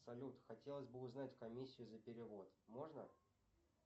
салют хотелось бы узнать комиссию за перевод можно